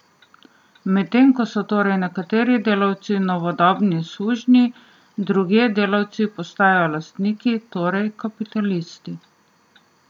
Medtem ko so torej nekateri delavci novodobni sužnji, drugje delavci postajajo lastniki, torej kapitalisti.